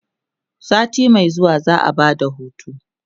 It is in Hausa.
sati Mai zuwa za'a Bada hutu